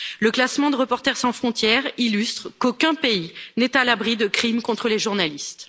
Le classement de Reporters sans frontières illustre qu'aucun pays n'est à l'abri de crimes contre les journalistes.